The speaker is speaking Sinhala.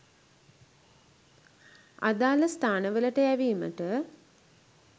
අදාළ ස්ථානවලට යැවීමට